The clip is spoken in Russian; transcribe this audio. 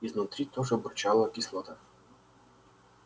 изнутри тоже бурчала кислота